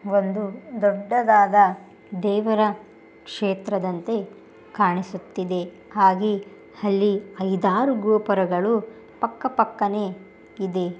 ಒಂದು ದೊಡ್ಡದಾದ ದೇವರ ಕ್ಷೇತ್ರದಂತೆ ಕಾಣಿಸುತ್ತಿದೆ. ಹಾಗೆ ಅಲ್ಲಿ ಐದಾರು ಗೋಪುರಗಳು ಪಕ್ಕ ಪಕ್ಕನೆ ಇದೆ.